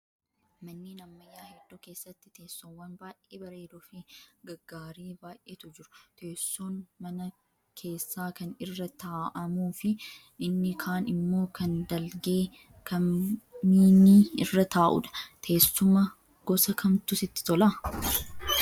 Manneen ammayyaa hedduu keessatti teessoowwan baay'ee bareedoo fi gaggaarii baay'eetu jiru. Teessoon mana keessaa kan irra taa'amuu fi inni kaan immoo kan dalgee kam miini irra taa'udha. Teessuma gosa kamtu sitti tolaa?